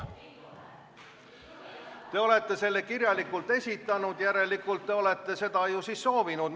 Te olete selle kirjalikult esitanud, järelikult te olete seda siis soovinud.